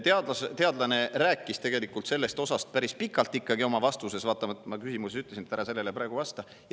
Teadlane rääkis oma vastuses sellest osast ikkagi päris pikalt, vaatamata sellele, et ma oma küsimuses ütlesin, et ära sellele praegu vasta.